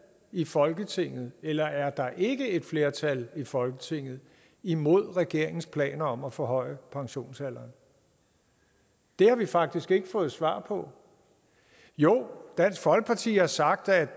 i folketinget eller er der ikke et flertal i folketinget imod regeringens planer om at forhøje pensionsalderen det har vi faktisk ikke fået svar på jo dansk folkeparti har sagt at